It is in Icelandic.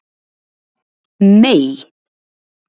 Mey